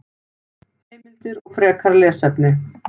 Heimildir og frekara lesefni: